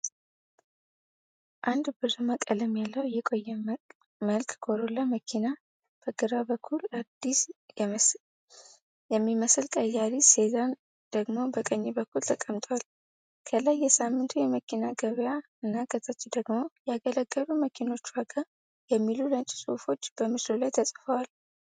አንድ ብርማ ቀለም ያለው የቆየ መልክ ኮሮላ መኪና በግራ በኩል፣ አዲስ የሚመስል ቀይ ያሪስ ሴዳን ደግሞ በቀኝ በኩል ተቀምጧል። ከላይ “የሳምንቱ የመኪና ገበያ!!” እና ከታች ደግሞ “ያገለገሉ መኪኖች ዋጋ!!” የሚሉ ነጭ ጽሑፎች በምስሉ ላይ ተጽፈዋል።